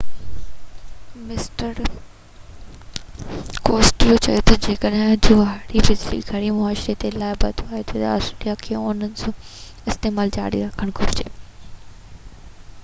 mister Costello چيو تہ جڏهن جوهري بجلي گهر معاشي طور تي لاڀائتو ٿي ٿو تہ آسٽريليا کي ان جو استعمال جاري رکڻ گهرجي